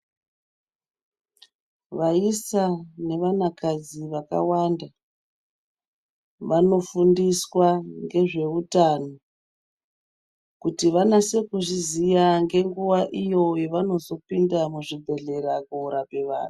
Vaisa nevana kadzi vakawanda vanofundiswa ngezveutano kuti vanase kuzviziva ngenguva iyo yavanozopinda muzvibhedhlera kunorape vantu.